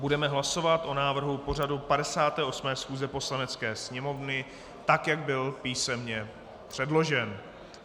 Budeme hlasovat o návrhu pořadu 58. schůze Poslanecké sněmovny, tak, jak byl písemně předložen.